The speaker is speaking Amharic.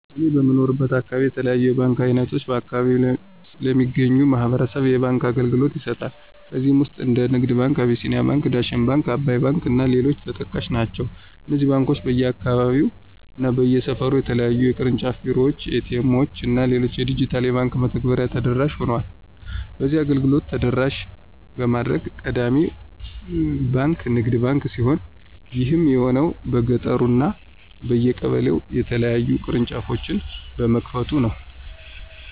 እኔ በምኖርበት አካባቢ የተለያዩ የባንክ አይነቶች በአከባቢው ለሚገኙ ማህበረሰብ የባንክ አገልግሎቶችን ይሰጣሉ። ከነዚህም ውስጥ እንደ ንግድ ባንክ፣ አቢሲኒያ ባንክ፣ ዳሽን ባንክ፣ አባይ ባንክ እና ሌሎችም ተጠቃሽ ናቸው። እነዚህ ባንኮች በየአካባቢው እና በየሰፈሩ የተለያዩ የቅርንጫፍ ቢሮዎች፣ ኤ.ቲ. ኤምዎች እና ሌሎች የዲጂታል የባንክ መተግበሬዎችን ተደራሽ ሆኗል። በዚህም አገልግሎቱን ተደራሽ በማድረግ ቀዳሚው ባንክ ንግድ ባንክ ሲሆን ይህም የሆነበት በየገጠሩ እና በየቀበሌው የተለያዩ ቅርንጫፎችን በመክፈቱ ነው።